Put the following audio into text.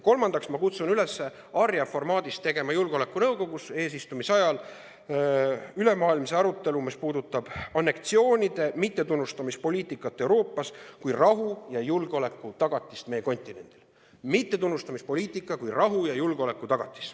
Kolmandaks kutsun ma üles Arria-formaadis tegema julgeolekunõukogus eesistumise ajal ülemaailmse arutelu, mis puudutab anneksioonide mittetunnustamise poliitikat Euroopas kui rahu ja julgeoleku tagatist meie maailmajaos.